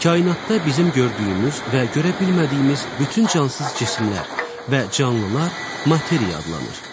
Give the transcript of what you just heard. Kainatda bizim gördüyümüz və görə bilmədiyimiz bütün cansız cisimlər və canlılar materiya adlanır.